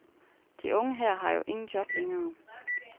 De unge her har jo ingen job længere.